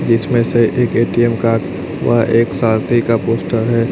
जिसमें से एक ए_टी_एम कार्ड व एक सारथी का पोस्टर है।